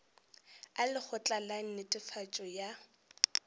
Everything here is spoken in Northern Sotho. a lekgotla la netefatšo ya